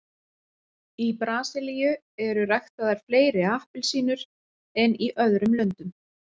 í brasilíu eru ræktaðar fleiri appelsínur en í öðrum löndum